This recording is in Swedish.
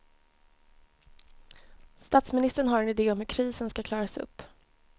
Statsministern har en ide om hur krisen ska klaras upp.